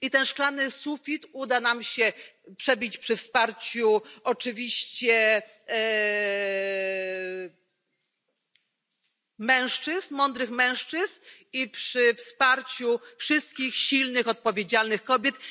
I ten szklany sufit uda nam się przebić przy wsparciu mężczyzn, mądrych mężczyzn, i przy wsparciu wszystkich silnych, odpowiedzialnych kobiet.